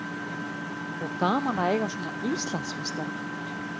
Magnús Hlynur: Og gaman að eiga svona Íslandsmeistara?